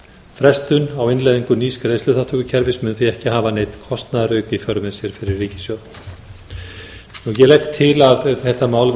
frestun á innleiðingu nýs greiðsluþátttökukerfis mun því ekki hafa neinn kostnaðarauka í för með sér fyrir ríkissjóð ég legg til að þetta mál